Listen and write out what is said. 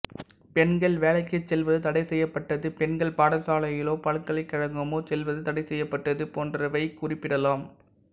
பெண்கள் வேலைக்குச் செல்வது தடைசெய்யப்பட்டது பெண்கள் பாடசாலையோ பல்கலைக்கழகமோ செல்வது தடைசெய்யப்பட்டது போன்றவையைக் குறிப்பிடலாம்